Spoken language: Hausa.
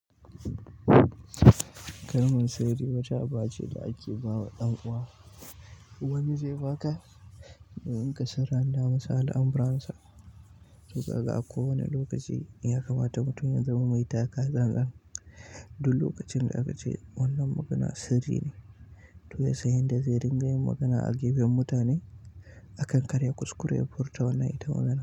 Kalmar sirri wata aba ce da ake ba wa ɗan'uwa. Wani zai ba ka in ka sirranta masa alamuransa. To kaga a kowane lokaci in ya kamata mutum ya zama mai taka-tsan-tsan, duk lokacin da aka ce wannan magana sirri ne, to ya sanya yanda zai ringa yin magana a gefen mutane a kan karya, kuskure, ya furta wannan ita wannan.